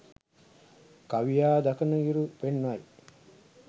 කවියා දකිනයුරු පෙන්වයි